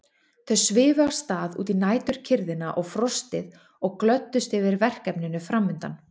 Þau svifu af stað út í næturkyrrðina og frostið og glöddust yfir verkefninu framundan.